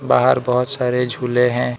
बाहर बहोत सारे झूले हैं।